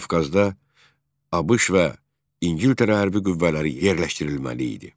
Qafqazda ABŞ və İngiltərə hərbi qüvvələri yerləşdirilməli idi.